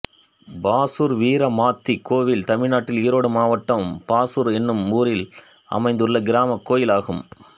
பாசூர் வீரமாத்தி கோயில் தமிழ்நாட்டில் ஈரோடு மாவட்டம் பாசூர் என்னும் ஊரில் அமைந்துள்ள கிராமக் கோயிலாகும்